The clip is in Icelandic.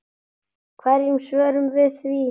Hverju svörum við því?